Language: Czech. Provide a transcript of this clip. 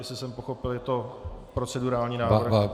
Jestli jsem pochopil, je to procedurální návrh.